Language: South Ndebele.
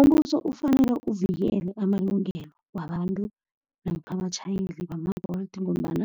Umbuso ufanele uvikele amalungelo wabantu, namkha wabatjhayeli bama-Bolt ngombana